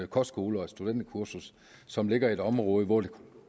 kostskole og et studenterkursus som ligger i et område hvor det